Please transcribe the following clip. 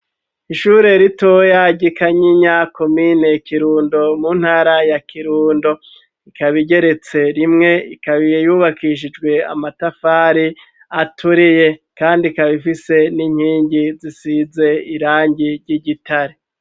Ishure rito ryi Kagikanyinya komine Kirundo mu ntara ya Kirundo ika igeretse rimwe ikaba yubakishijwe amatafari aturiye kandi ikaba ifise n'inkingi zisize irangi ry'igitare.